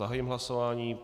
Zahájím hlasování.